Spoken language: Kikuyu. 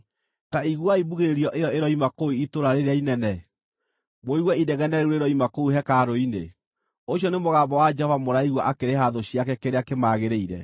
Ta iguai mbugĩrĩrio ĩyo ĩroima kũu itũũra rĩrĩa inene, mũigue inegene rĩu rĩroima kũu hekarũ-inĩ! Ũcio nĩ mũgambo wa Jehova mũraigua akĩrĩha thũ ciake kĩrĩa kĩmagĩrĩire.